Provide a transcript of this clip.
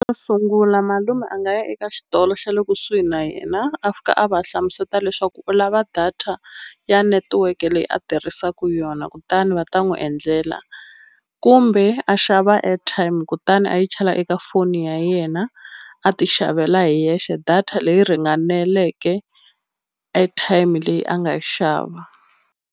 Xo sungula malume a nga ya eka xitolo xa le kusuhi na yena a fika a va hlamuseta leswaku u lava data ya netiweke leyi a tirhisaku yona kutani va ta n'wi endlela kumbe a xava airtime kutani a yi chela eka foni ya yena a ti xavela hi yexe data leyi ringaneleke airtime leyi a nga yi xava.